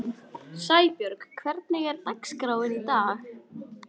Sæbjörg, hvernig er dagskráin í dag?